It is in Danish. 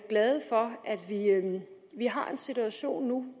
vi har en situation nu